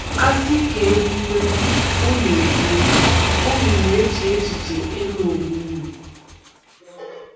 A sị ka e kwuwe, unu e kwuwe, unu na-eche echiche ịlụ onwe unu.